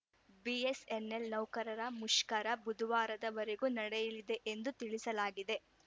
BSNL ನೌಕರರ ಮುಷ್ಕರ ಬುಧವಾರದ ವರೆಗೆ ನಡೆಯಲಿದೆ ಎಂದು ತಿಳಿಸಲಾಗಿದೆ